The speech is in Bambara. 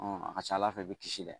A ka ca Ala fɛ i bɛ kisi dɛ